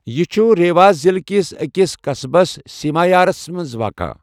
یہِ چُھ ریوا ضِلعہٕ کِس أکِس قضبس، سیمارِیاہس منٛز واقع۔